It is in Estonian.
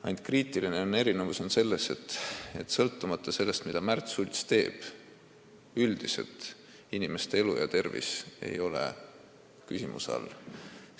Ainult kriitiline erinevus on selles, et ükskõik, mida Märt Sults ka ei tee, koolis inimeste elu ja tervis küsimärgi all ei ole.